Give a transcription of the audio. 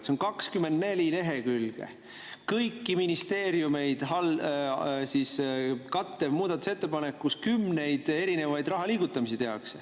See on 24 lehekülge pikk kõiki ministeeriumeid kattev muudatusettepanek, kus tehakse kümneid erinevaid raha liigutamisi.